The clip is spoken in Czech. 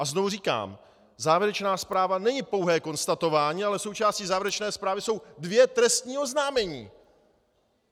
A znovu říkám, závěrečná zpráva není pouhé konstatování, ale součástí závěrečné zprávy jsou dvě trestní oznámení.